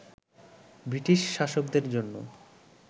British শাসকদের জন্য